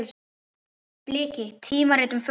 Bliki: tímarit um fugla.